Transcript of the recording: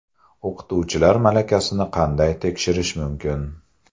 O‘qituvchilar malakasini qanday tekshirish mumkin?